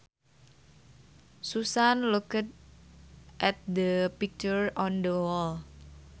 Susan looked at the picture on the wall